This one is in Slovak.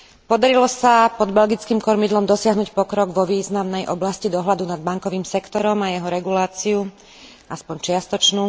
Podarilo sa pod belgickým kormidlom dosiahnuť pokrok vo významnej oblasti dohľadu nad bankovým sektorom a jeho reguláciu aspoň čiastočnú.